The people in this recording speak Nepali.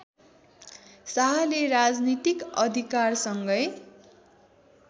शाहले राजनीतिक अधिकारसँगै